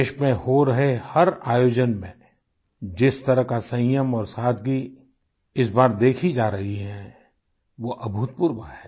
देश में हो रहे हर आयोजन में जिस तरह का संयम और सादगी इस बार देखी जा रही है वो अभूतपूर्व है